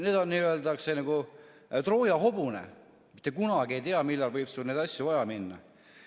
Need on nagu Trooja hobune – mitte kunagi ei tea, millal võib sul neid asju vaja minna.